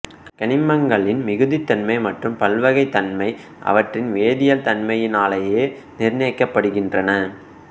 கனிமங்களின் மிகுதித்தன்மை மற்றும் பல்வகைத் தன்மை அவற்றின் வேதியியல் தன்மையினாலேயே நிர்ணயிக்கப்படுகின்றன